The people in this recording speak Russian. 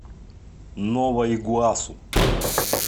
нова игуасу